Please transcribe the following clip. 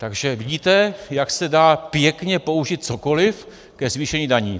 Takže vidíte, jak se dá pěkně použít cokoli ke zvýšení daní.